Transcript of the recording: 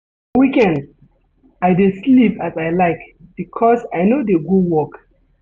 For weekend, I dey sleep as I like because I no dey go work.